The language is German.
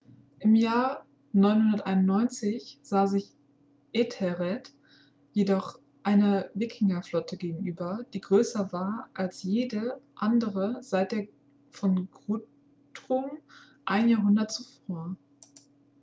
im jahr 991 sah sich ethelred jedoch einer wikingerflotte gegenüber die größer war als jede andere seit der von guthrum ein jahrhundert zuvor